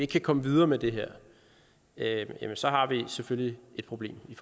kan komme videre med det her jamen så har vi selvfølgelig et problem i